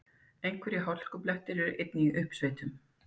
Einhverjir hálkublettir eru einnig í uppsveitum